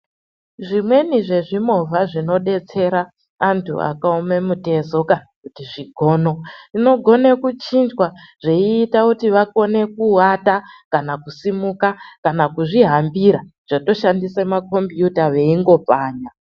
Zvimweni zvezvimovha zvinodetsera antu akaome mitezoka kuti zvigono vinogona kuchinjwa zveiita kuti vakone kuata, kana kusimuka kana kuzvihambira zvatoshandisa makombiyuta veingopfanya.